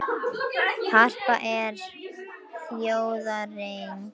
Harpa er þjóðareign